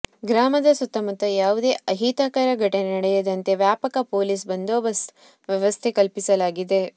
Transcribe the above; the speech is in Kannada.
ಗ್ರಾಮದ ಸುತ್ತಮುತ್ತ ಯಾವುದೇ ಅಹಿತಕರ ಘಟನೆ ನಡೆಯದಂತೆ ವ್ಯಾಪಕ ಪೊಲೀಸ್ ಬಂದೋಬಸ್ತ್ ವ್ಯವಸ್ಥೆ ಕಲ್ಪಿಸಲಾಗಿದೆ